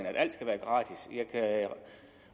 at alt skal være gratis jeg kan